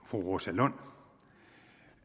fru rosa lund